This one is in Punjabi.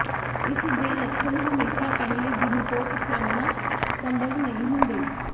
ਇਸ ਦੇ ਲੱਛਣ ਹਮੇਸ਼ਾ ਪਹਿਲੇ ਦਿਨ ਤੋਂ ਪਛਾਣਨਾ ਸੰਭਵ ਨਹੀਂ ਹੁੰਦੇ